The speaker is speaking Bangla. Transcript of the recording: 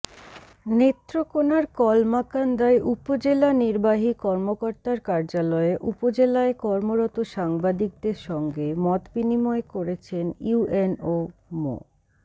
নেত্রকোনার কলমাকান্দায় উপজেলা নির্বাহী কর্মকর্তার কার্যালয়ে উপজেলায় কর্মরত সাংবাদিকদের সঙ্গে মতবিনিময় করেছেন ইউএনও মো